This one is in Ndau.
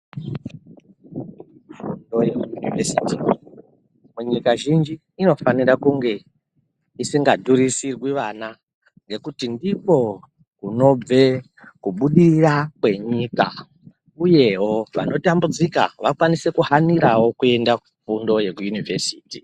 Fundo yekuyunivhesiti munyika zhinji inofanirwa kunge isingadhurisirwi vana ngekuti ndikwo kunobve kubudirira kwenyika uyewo vanotambudzika vakwanise kuhanirawo kuenda kufundo yekuyunivhesiti